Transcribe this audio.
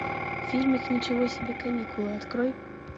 фильм ничего себе каникулы открой